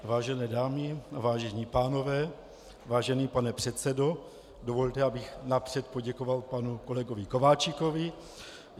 Vážené dámy, vážení pánové, vážený pane předsedo, dovolte, abych napřed poděkoval panu kolegovi Kováčikovi.